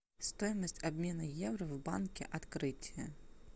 стоимость обмена евро в банке открытие